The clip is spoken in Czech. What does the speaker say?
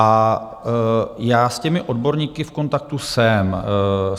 A já s těmi odborníky v kontaktu jsem.